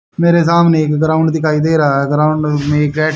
मेरे सामने एक ग्राउंड दिखाई दे रहा है ग्राउंड में गैस --